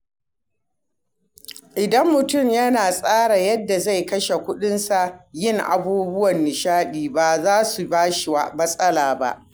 Idan mutum ya tsara yadda zai kashe kuɗinsa, yin abubuwan nishaɗi baza su bashi matsala ba.